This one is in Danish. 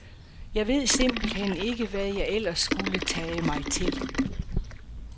Jeg ved simpelt hen ikke, hvad jeg ellers skulle tage mig til.